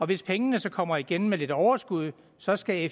hvis pengene så kommer igen med lidt overskud så skal